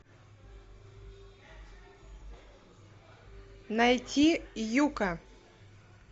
найти юкка